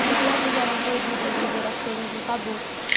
As crianças eram proibidas de ver as coisas dos adultos.